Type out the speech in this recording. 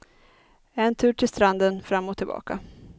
En tur till stranden, fram och tillbaka.